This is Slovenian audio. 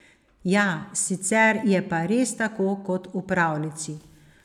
Ja, sicer je pa res tako kot v pravljici.